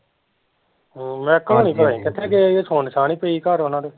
ਮਹਿਕੂ ਹੁਣੀ ਪਤਾ ਨੀ ਕਿੱਥੇ ਗਏ ਜੇ ਸੁਨ ਸਾਨ ਈ ਪਈ ਘਰ ਓਹਨਾਂ ਦੇ